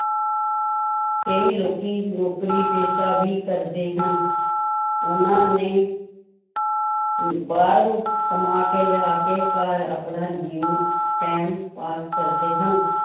ਕਈ ਲੋਕੀ ਨੌਕਰੀ ਪੇਸ਼ਾ ਵੀ ਕਰਦੇ ਹਨ ਉਹਨਾਂ ਨੇ ਅਮ ਬਾਹਰੋਂ ਕਮਾ ਕੇ ਲਿਆ ਕੇ ਘਰ ਆਪਣਾ ਜੀਵਨ time pass ਕਰਦੇ ਹਨ